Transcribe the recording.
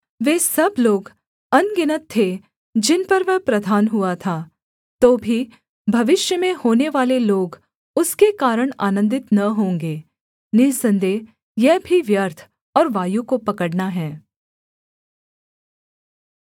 वे सब लोग अनगिनत थे जिन पर वह प्रधान हुआ था तो भी भविष्य में होनेवाले लोग उसके कारण आनन्दित न होंगे निःसन्देह यह भी व्यर्थ और वायु को पकड़ना है